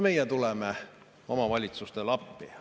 Meie tuleme omavalitsustele appi.